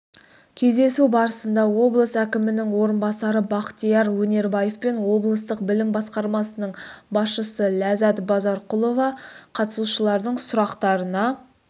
кездесу барысында облыс әкімінің орынбасары бақтияр өнербаев пен облыстық білім басқармасының басшысы ләззат базарқұлова қатысушылардың сұрақтарына